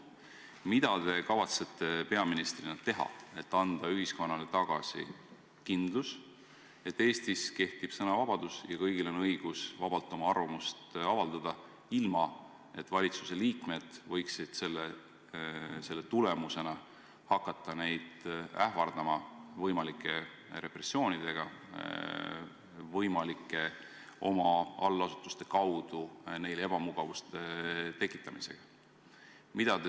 Mida te kavatsete peaministrina teha, et anda ühiskonnale tagasi kindlus, et Eestis kehtib sõnavabadus ja kõigil on õigus vabalt oma arvamust avaldada, ilma et valitsuse liikmed võiksid selle tagajärjel hakata neid ähvardama võimalike repressioonidega, oma allasutuste kaudu neile ebamugavuste tekitamisega?